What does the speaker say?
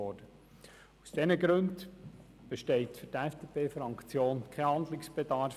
Aus diesen Gründen besteht für die FDP-Fraktion kein Handlungsbedarf.